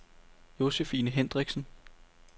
Josefine Hendriksen